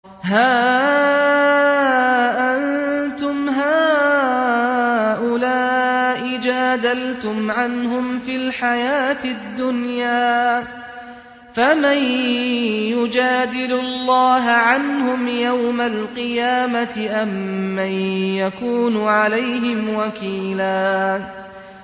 هَا أَنتُمْ هَٰؤُلَاءِ جَادَلْتُمْ عَنْهُمْ فِي الْحَيَاةِ الدُّنْيَا فَمَن يُجَادِلُ اللَّهَ عَنْهُمْ يَوْمَ الْقِيَامَةِ أَم مَّن يَكُونُ عَلَيْهِمْ وَكِيلًا